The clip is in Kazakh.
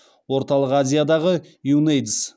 орталық азиядағы юнэйдс